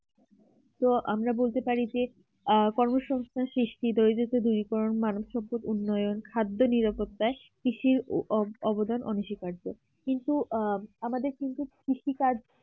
তো আমরা বলতে পারি যে আ কর্মসংস্থান সৃষ্টিতে ওই যে দূরীকরণ মানসিক উন্নয়ন খাদ্য নিরাপত্তায় কৃষির অবদান অনস্বীকার্য কিন্তু আহ আমাদের কিন্তু কৃষিকাজ